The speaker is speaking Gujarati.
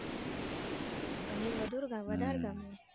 પનીર વધુર વધાર ગમે